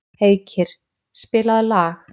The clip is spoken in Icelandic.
Heikir, spilaðu lag.